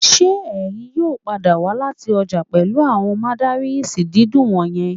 Ṣé ẹ̀yin yóò padà wá láti ọjà pẹ̀lú àwọn mandarins dídùn wọ̀nyẹn